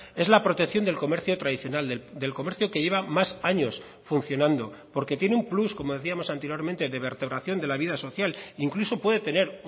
es la protección del comercio tradicional del comercio que lleva más años funcionando porque tiene un plus como decíamos anteriormente de vertebración de la vida social incluso puede tener